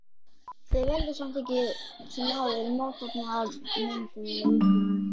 Þau valda samt sem áður mótefnamyndun í líkamanum.